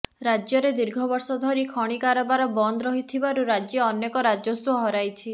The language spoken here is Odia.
ରାଜ୍ୟରେ ଦୀର୍ଘ ବର୍ଷ ଧରି ଖଣିକାରବାର ବନ୍ଦ ରହିଥିବାରୁ ରାଜ୍ୟ ଅନେକ ରାଜସ୍ୱ ହରାଇଛି